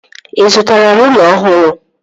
Ị zụtara rụla ọhụrụ?